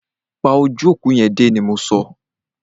Pa ojú òkú yẹn dé! ni mọ so.